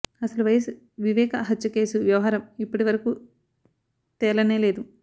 అసలు వైఎస్ వివేకా హత్య కేసు వ్యవహారం ఇప్పటి వరకు తేలనేలేదు